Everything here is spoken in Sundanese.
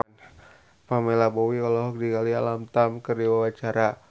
Pamela Bowie olohok ningali Alam Tam keur diwawancara